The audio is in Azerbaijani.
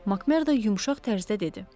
Makmerda yumşaq tərzdə dedi.